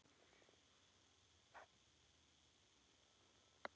Svona mætti áfram telja.